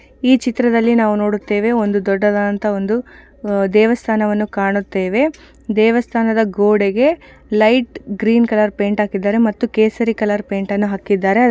ಈ ಚಿತ್ರದಲ್ಲಿ ನಾವು ನೋಡುತ್ತೇವೆ ಒಂದು ದೊಡ್ಡದಾದಂತಹ ಒಂದು ಆಹ್ಹ್ ದೇವಸ್ಥಾನವನ್ನು ಕಾಣುತ್ತೇವೆ ದೇವಸ್ಥಾನದ ಗೋಡೆಗೆ ಲೈಟ್ ಗ್ರೀನ್ ಕಲರ್ ಪೈಂಟ್ ಹಾಕಿದ್ದಾರೆ ಮತ್ತು ಕೇಸರಿ ಕಲರ್ ಪೈಂಟನ್ನು ಹಾಕಿದ್ದಾರೆ.